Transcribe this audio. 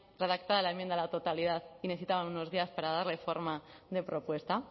redactada la enmienda a la totalidad y necesitaron unos días para darle forma de propuesta